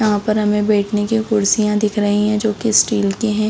यहाँ पर हमें बैठने की कुर्सियाँ दिख रही है जो की स्टील की है।